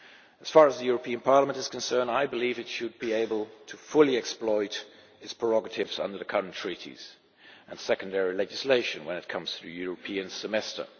As far as the European Parliament is concerned, I believe it should be able to fully exploit its prerogatives under the current treaties and secondary legislation when it comes to the European Semester.